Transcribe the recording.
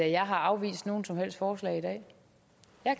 jeg har afvist nogen som helst forslag i dag